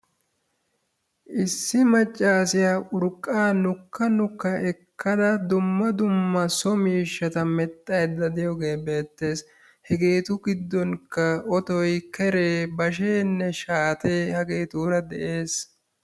issi macaassiya urqaa nukka nukka ekkada dumma dumma so miishshata medhayda diyoge beetees. Hegeetu gidonkka otoy, kere, basheenne shaate hageetura dees.